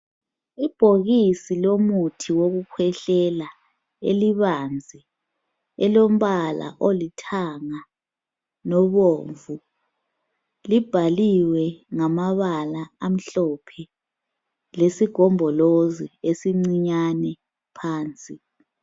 Ibhokisi lomuthi wokukhwehlela elibanzi elombala olithanga lobomvu libhaliwe ngamabala amhlophe lesigombolozi esincinyane phansi.